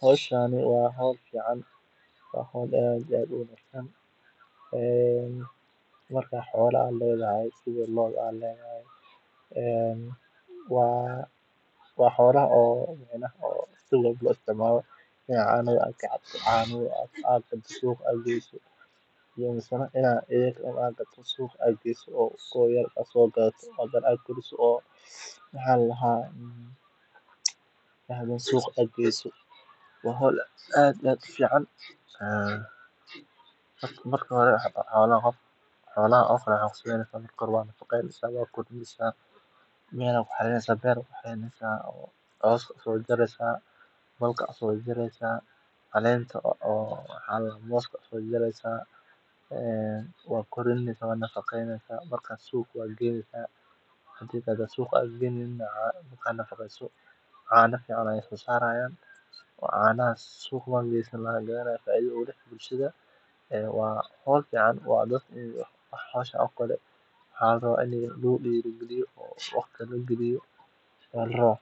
hoshani waa hol fican ee waa hol aad iyo aad u wanagsan ee marka xola aa ledhahay sitha lodha aa ledhahay en waa xolaha si walbo lo malo ee canaha aad ka cabto suq aad geso mase ina iyaga u aa gado oo suqa geso oo aa sogadato hadana aad koriso maxa ladaha hadana suqa aad geso waa hol aad iyo aad ufican ee marka hore xolahan oo kale maxaa kusameynesa waa qatheysa meel aya ku xaririneysa beer aya ku careynesa cos aya sojareysa bal aya sojareysa calenta aya uso jareysa ee waa korineysa waa nafaqeynesa marka suqa aya geynesa hadi kale aa suqa geyneynina cana fican aya lasosaraya oo canaha suqa laga gadanayo faidho ayu uleyahay bulshaada ee waa hol fican dadka iyo hoshan oo kale waxaa larawa ini lagu dira galiyo waqti lagaliyo aya larawa.